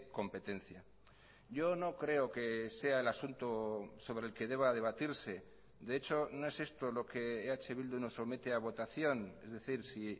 competencia yo no creo que sea el asunto sobre el que deba debatirse de hecho no es esto lo que eh bildu nos somete a votación es decir si